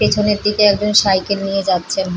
পেছনের দিকে একজন সাইকেল নিয়ে যাচ্ছেন।